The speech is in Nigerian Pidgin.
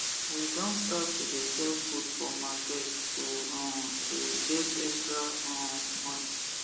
we don start to de sell food for market to um the get extra um money